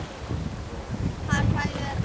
Það hræðir menn, segir Andrés.